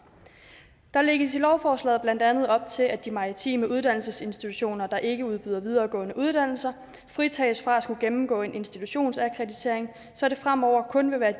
der lægges i lovforslaget blandt andet op til at de maritime uddannelsesinstitutioner der ikke udbyder videregående uddannelser fritages fra at skulle gennemgå en institutionsakkreditering så det fremover kun vil være